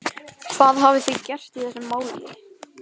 Símon Birgisson: Hvað hafið þið gert í þessum máli?